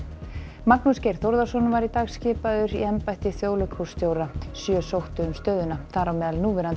Magnús Geir Þórðarson var í dag skipaður í embætti þjóðleikhússtjóra sjö sóttu um stöðuna þar á meðal núverandi